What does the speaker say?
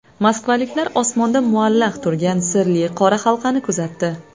Moskvaliklar osmonda muallaq turgan sirli qora halqani kuzatdi .